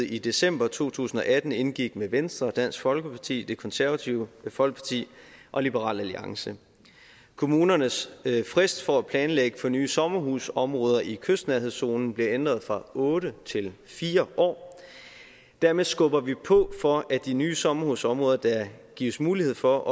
i december to tusind og atten indgik med venstre dansk folkeparti det konservative folkeparti og liberal alliance kommunernes frist for at planlægge for nye sommerhusområder i kystnærhedszonen blev ændret fra otte til fire år dermed skubber vi på for at de nye sommerhusområder der gives mulighed for